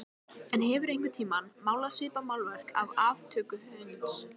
En hefurðu einhvern tíma málað svipað málverk af aftöku hunds?